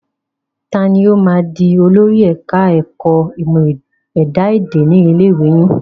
Ta ni ó máa di olórí ẹ̀ka ẹ̀kọ́ ìmọ̀ ẹ̀dá èdè ni ilé ìwé yín?